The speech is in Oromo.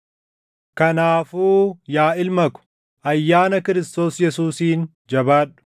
Kanaafuu yaa ilma ko, ayyaana Kiristoos Yesuusiin jabaadhu.